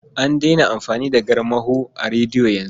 An daina amfani da garmaho a rediyo yanzu.